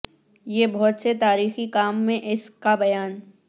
یہ بہت سے تاریخی کام میں اس کا بیان